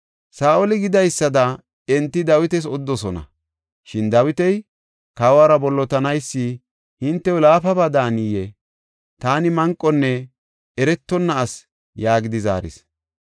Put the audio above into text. Saa7oli gidaysada enti Dawitas odidosona. Shin Dawiti, “Kawora bollotanaysi hintew laafaba daaniyee? Taani manqonne eretonna asi” yaagidi zaaris.